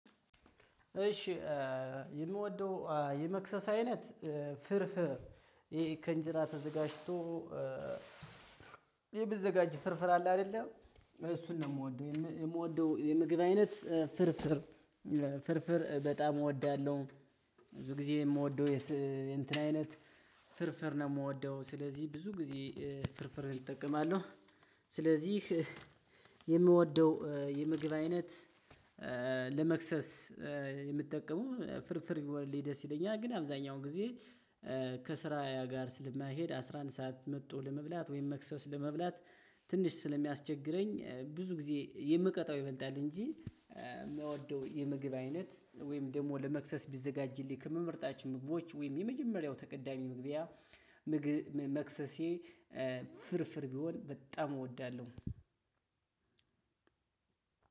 እሺ የምወደው የመክሰስ አይነት ፍርፍር ይሄ ከእንጀራ ተዘጋጅቶ። ይሄ ሚዘጋጅ ፍርፍር አለ አይደለ እሱን ነው የምወደው የምወደው የምግብ አይነት ፍርፍር ፍርፍር በጣም እወዳለሁ። ብዙ ጊዜ የምወደው የስ የእንትን አይነት ፍርፍር ነው የምወደው ስለዚህ ብዙ ጊዜ ፍርፍርን እጠቀማለሁ። ስለዚህ የምወደው የምግብ አይነት ለመክሰስ የምጠቀመው ፍርፍር ቢሆንልኝ ደስ ይለኛል። ግን አብዛኛውን ጊዜ ከስራ ጋር ስለማይሄድ አስራ አንድ ሰዓት መጥቶ ለመብላት ወይም መክሰስ ለመብላት ትንሽ ስለሚያስቸግረኝ። ብዙ ጊዜ የምቀጣው ይበልጣል እንጂ የምወደው የምግብ አይነት ወይም ደግሞ ለመክሰስ ቢዘጋጅልኝ ከምመርጣችሁ ምግቦች ወይም የመጀመሪያው ተቀዳሚ ምግቢያ ምግ መክሰሴ ፍርፍር ቢሆን በጣም እወዳለሁ።